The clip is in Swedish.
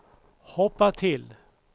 hoppa till